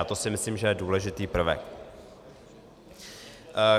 A to si myslím, že je důležitý prvek.